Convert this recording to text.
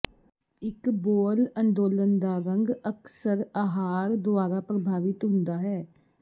ਇੱਕ ਬੋਅਲ ਅੰਦੋਲਨ ਦਾ ਰੰਗ ਅਕਸਰ ਅਹਾਰ ਦੁਆਰਾ ਪ੍ਰਭਾਵਿਤ ਹੁੰਦਾ ਹੈ